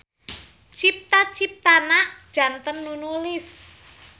Cipta-ciptana janten nu nulis.